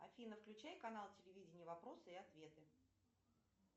афина включай канал телевидения вопросы и ответы